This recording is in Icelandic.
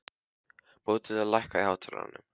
Bóthildur, lækkaðu í hátalaranum.